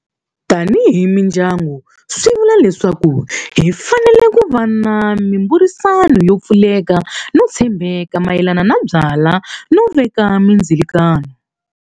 Tanihi mindyangu swi vula leswaku hi fanele ku va na mimbhurisano yo pfuleka no tshembeka mayelana na byala no veka mindzilikano.